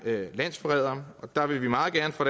landsforrædere der vil vi meget gerne fra